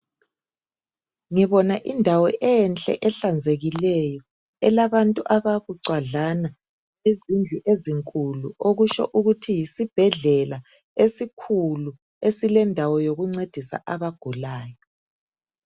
Ngibona indawo enhle ehlanzekileyo elabantu ababucwadlana izindlu ezinkulu okutsho ukuthi yisibhedlela esikhulu esilendawo yokuncedisa abagulayo.